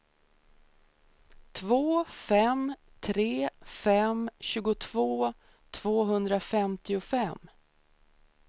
två fem tre fem tjugotvå tvåhundrafemtiofem